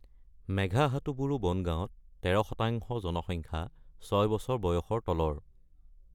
মেঘহাটুবুৰু বন গাঁৱত ১৩% জনসংখ্যা ৬ বছৰ বয়সৰ তলৰ।